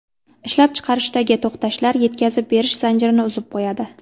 Ishlab chiqarishdagi to‘xtashlar yetkazib berish zanjirini uzib qo‘yadi.